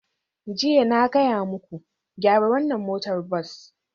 Jiya, na gaya muku, gyara wannan motar bas!